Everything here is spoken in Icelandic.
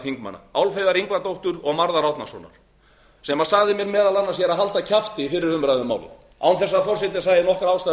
þingmanna álfheiðar ingadóttur og marðar árnasonar sem sagði mér meðal annars að halda kjafti í fyrri umræðu um málið án þess að forseti sæi nokkra ástæðu